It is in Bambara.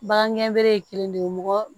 Bagan gɛnbele ye kelen de ye mɔgɔ